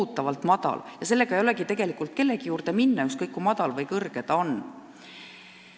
Ja kvalifikatsioonitõendiga ei ole tegelikult kellegi juurde minna, ükskõik kui madal või kõrge su kvalifikatsioon on.